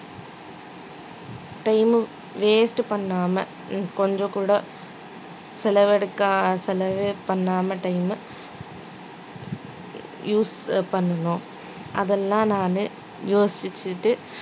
time waste பண்ணாம கொஞ்சம் கூட செலவெடுக்க செலவு பண்ணாம time use பண்ணணும் அதெல்லாம் நானு யோசிச்சுட்டு